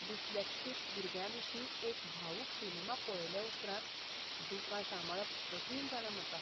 Dyslexic भुरग्याविशीं एक भावूक सिनेमा पळयले उपरांत दुकां सांबाळप कठीण जालां म्हाका.